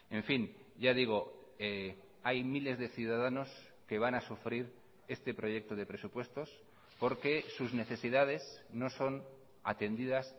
en fin ya digo hay miles de ciudadanos que van a sufrir este proyecto de presupuestos porque sus necesidades no son atendidas